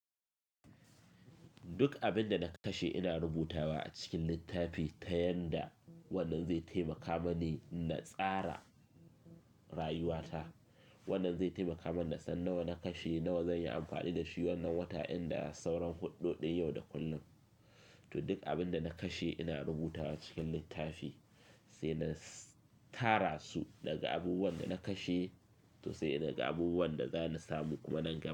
Duk abin da na kashe ina rubutawa a cikin littafi ta yanda wannan zai taimaka mani na tsara rayuwata. Wannan zai taimaka mani na san nawa na kashe, nawa zan yi amfani da shi wannan wata inda sauran huɗu ɗin yau da kullum. To duk abin da na kashe ina rubutawa cikin littafi sai na tara su daga abubuwan da na kashe to sai naga abubuwan da za ni samu kuma na gama.